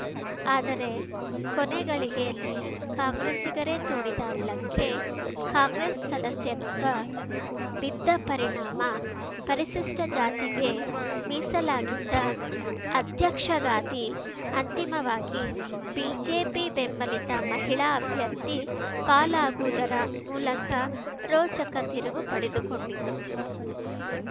ಆದರೆ ಕೊನೆ ಗಳಿಗೆಯಲ್ಲಿ ಕಾಂಗ್ರೆಸ್ಸಿಗರೇ ತೋಡಿದ ಹಳ್ಳಕ್ಕೆ ಕಾಂಗ್ರೆಸ್‌ ಸದಸ್ಯನೊಬ್ಬ ಬಿದ್ದ ಪರಿಣಾಮ ಪರಿಶಿಷ್ಟಜಾತಿಗೆ ಮೀಸಲಾಗಿದ್ದ ಅಧ್ಯಕ್ಷಗಾದಿ ಅಂತಿಮವಾಗಿ ಬಿಜೆಪಿ ಬೆಂಬಲಿತ ಮಹಿಳಾ ಅಭ್ಯರ್ಥಿ ಪಾಲಾಗುವುದರ ಮೂಲಕ ರೋಚಕ ತಿರುವು ಪಡೆದುಕೊಂಡಿತು